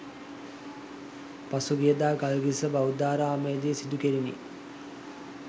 පසුගියදා ගල්කිස්ස බෞද්ධාරාමයේදී සිදු කෙරිණි